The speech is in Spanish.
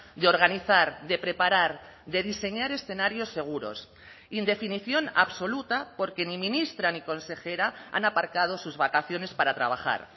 de organizar de preparar de diseñar escenarios seguros indefinición absoluta porque ni ministra ni consejera han aparcado sus vacaciones para trabajar